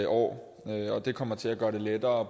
år det kommer til at gøre det lettere